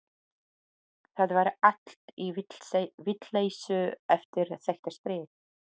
Það var allt í vitleysu eftir þetta stríð.